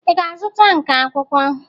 Ị ga-azụta nka akwụkwọ?